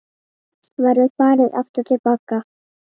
Verður farið aftur til baka?